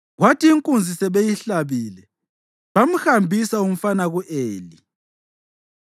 Kwathi inkunzi sebeyihlabile, bamhambisa umfana ku-Eli,